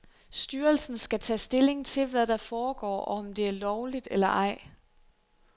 Styrelsen skal tage stilling til, hvad der foregår, og om det er lovligt eller ej.